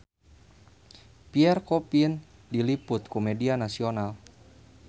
Pierre Coffin diliput ku media nasional